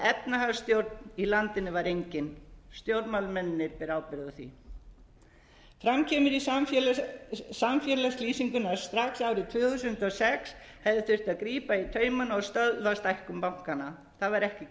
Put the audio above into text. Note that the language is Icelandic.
efnahagsstjórn í landinu var engin stjórnmálamennirnir bera ábyrgð á því fram kemur í samfélagslýsingunni að strax árið tvö þúsund og sex hefði þurft að grípa í taumana og stöðva stækkun bankanna það sér ekki